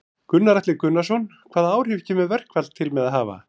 Gunnar Atli Gunnarsson: Hvaða áhrif kemur verkfall til með að hafa?